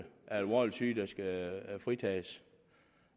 alvorligt syge der skal fritages